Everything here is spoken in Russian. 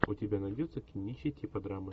у тебя найдется кинище типа драмы